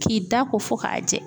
K'i da ko fo ka jɛ.